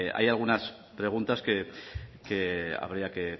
hay algunas preguntas que habría que